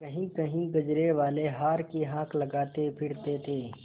कहींकहीं गजरेवाले हार की हाँक लगाते फिरते थे